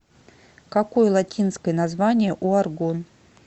какой латинское название у аргон